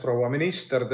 Proua minister!